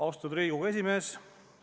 Austatud Riigikogu esimees!